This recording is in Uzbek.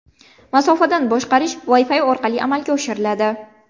Masofadan boshqarish Wi-Fi orqali amalga oshiriladi.